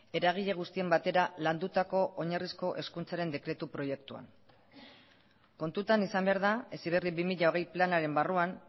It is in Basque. eragile guztien batera landutako oinarrizko hezkuntzaren dekretu proiektuan kontutan izan behar da heziberri bi mila hogei planaren barruan